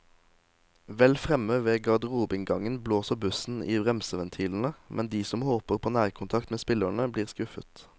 Vel fremme ved garderobeinngangen blåser bussen i bremseventilene, men de som håper på nærkontakt med spillerne, blir skuffet.